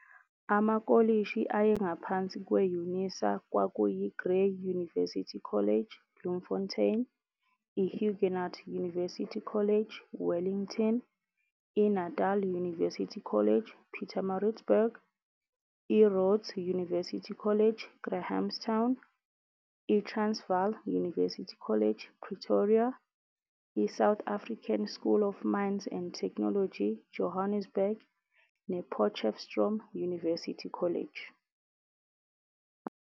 Amakolishi ayengaphansi kwe-UNISA kwakuyi-Grey University College, Bloemfontein, i-Huguenot University College, Wellington, i-INatal University College, Pietermaritzburg, I-Rhodes University College, Grahamstown, i-Transvaal University College, Pretoria, i-South African School of Mines and Technology, Johannesburg, ne-Potchefstroom University College.